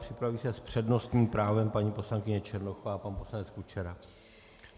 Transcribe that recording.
Připraví se s přednostním právem paní poslankyně Černochová a pan poslanec Kučera.